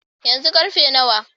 Yanzu karfe nawa?